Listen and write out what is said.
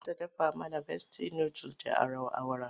Za ta dafa mana Besti nudul da awara.